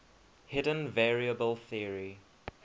hidden variable theory